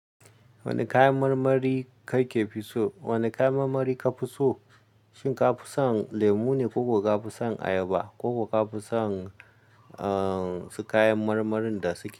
Wani kayan marmari kake fi so? Wane kayan marmari ka fi so? Shin ka fi son lemu ne koko ka fi son ayaba koko ka fi son, uhn, su kayan marmarin da suke.